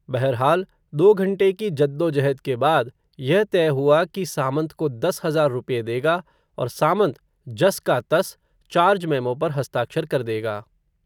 बहरहाल, दो घंटे की जद्दोजहद के बाद, यह तय हुआ, कि सामंत को दस हज़ार रुपये देगा, और सामंत, जस का तस, चार्ज मेमो पर हस्ताक्षर कर देगा